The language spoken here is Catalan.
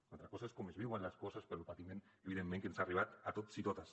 altra cosa és com es viuen les coses però el patiment és evident que ens ha arribat a tots i a totes